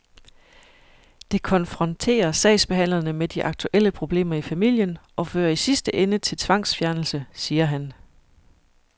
Det konfronterer sagsbehandlerne med de aktuelle problemer i familien og fører i sidste ende til tvangsfjernelse, siger han.